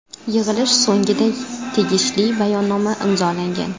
Yig‘ilish so‘ngida tegishli bayonnoma imzolangan.